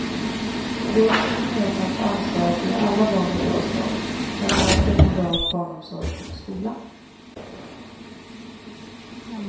Det är också ett gemensamt ansvar att ge alla barn en bra start, bland annat genom bra barnomsorg och skola.